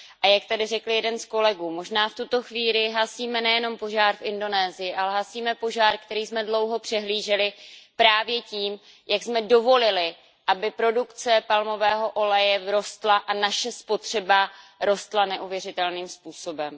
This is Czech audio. A jak tady řekl jeden z kolegů možná v tuto chvíli hasíme nejen požár v Indonésii, ale hasíme požár, který jsme dlouho přehlíželi právě tím, jak jsme dovolili, aby produkce palmového oleje rostla a naše spotřeba rostla neuvěřitelným způsobem.